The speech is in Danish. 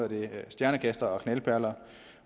det stjernekastere og knaldperler